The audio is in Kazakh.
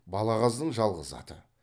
балағаздың жалғыз аты